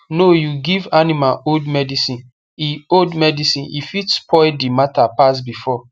no you give animal old medicine e old medicine e fit spoil the matter pass before